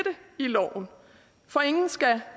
i loven for ingen skal